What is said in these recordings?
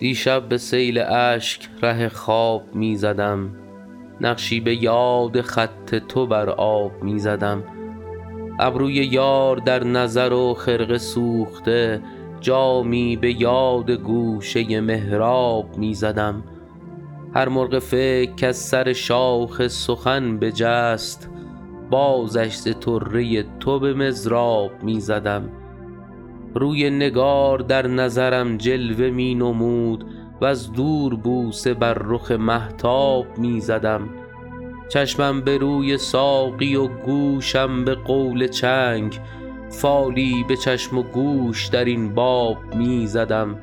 دیشب به سیل اشک ره خواب می زدم نقشی به یاد خط تو بر آب می زدم ابروی یار در نظر و خرقه سوخته جامی به یاد گوشه محراب می زدم هر مرغ فکر کز سر شاخ سخن بجست بازش ز طره تو به مضراب می زدم روی نگار در نظرم جلوه می نمود وز دور بوسه بر رخ مهتاب می زدم چشمم به روی ساقی و گوشم به قول چنگ فالی به چشم و گوش در این باب می زدم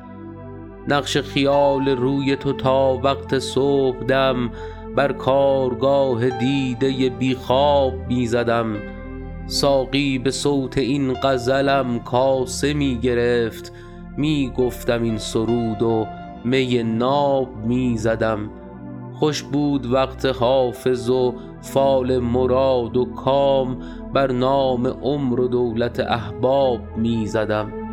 نقش خیال روی تو تا وقت صبحدم بر کارگاه دیده بی خواب می زدم ساقی به صوت این غزلم کاسه می گرفت می گفتم این سرود و می ناب می زدم خوش بود وقت حافظ و فال مراد و کام بر نام عمر و دولت احباب می زدم